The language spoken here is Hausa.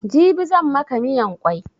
Jibi zan maka miyan kwai